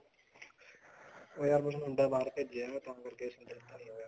ਯਾਰ ਕੁੱਝ ਮੁੰਡਾ ਬਾਹਰ ਭੇਜਿਆ ਤਾਂ ਕਰਕੇ ਹੋਗਿਆ